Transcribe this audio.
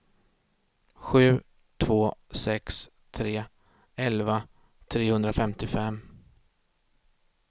sju två sex tre elva trehundrafemtiofem